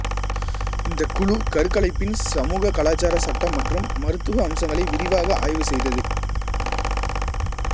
இந்தக் குழு கருக்கலைப்பின் சமூககலாச்சார சட்ட மற்றும் மருத்துவ அம்சங்களை விரிவாக ஆய்வு செய்தது